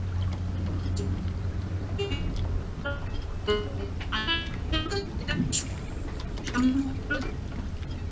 """inaudible"""